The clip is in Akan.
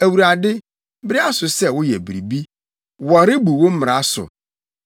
Awurade, bere aso sɛ woyɛ biribi; wɔrebu wo mmara so.